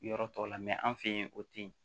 Yɔrɔ tɔw la an fɛ yen o tɛ yen